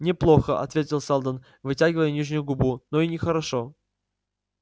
не плохо ответил сэлдон вытягивая нижнюю губу но и не хорошо